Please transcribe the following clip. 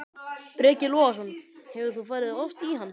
Breki Logason: Hefur þú farið oft í hann?